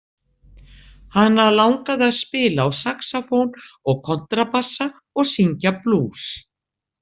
Hana langaði að spila á saxófón og kontrabassa og syngja blús.